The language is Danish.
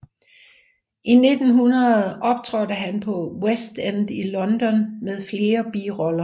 I 1900 optrådte han på West End i London med flere biroller